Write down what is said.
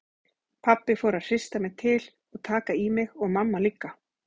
Pabbi fór að hrista mig til og taka í mig og mamma líka.